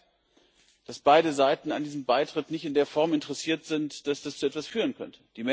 Es zeigt, dass beide Seiten an diesem Beitritt nicht in der Form interessiert sind, dass das zu etwas führen könnte.